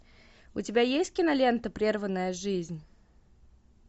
у тебя есть кинолента прерванная жизнь